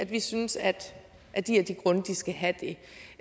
vi synes at de skal have det